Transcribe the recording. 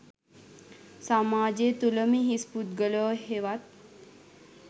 සමාජය තුළම හිස් පුද්ගලයෝ හෙවත්